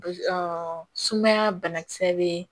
sumaya banakisɛ bɛ yen